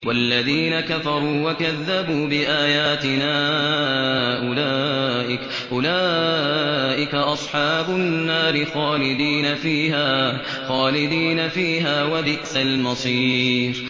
وَالَّذِينَ كَفَرُوا وَكَذَّبُوا بِآيَاتِنَا أُولَٰئِكَ أَصْحَابُ النَّارِ خَالِدِينَ فِيهَا ۖ وَبِئْسَ الْمَصِيرُ